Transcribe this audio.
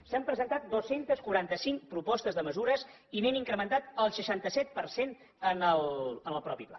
s’han presentat dos cents i quaranta cinc propostes de mesures i n’hem incrementat el seixanta set per cent en el mateix pla